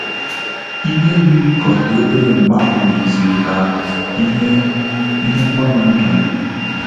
Ihe yiri ka ọ dị obere mgbeahu yiziri ka ihe ihe mgbanwe ndum